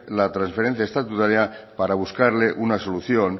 la trasferencia estatutaria para buscarle una solución